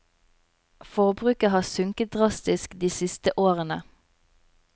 Forbruket har sunket drastisk de siste årene.